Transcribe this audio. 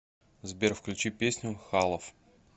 сбер включи песню халаф